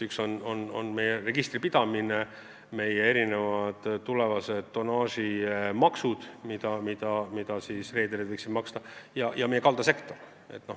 Üks on meie registripidamine, teine tulevased tonnaažimaksud, mida reederid võiksid maksta, ja kolmas meie kaldasektor.